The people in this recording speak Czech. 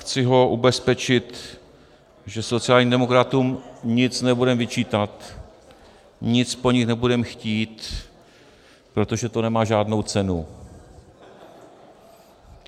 Chci ho ubezpečit, že sociálním demokratům nic nebudeme vyčítat, nic po nich nebudeme chtít, protože to nemá žádnou cenu.